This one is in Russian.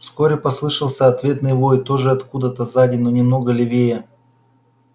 вскоре послышался ответный вой тоже откуда-то сзади но немного левее